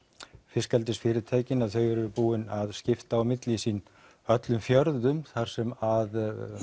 fiskeldisfyrirtækin eru búin að skipta á milli sín öllum fjörðum þar sem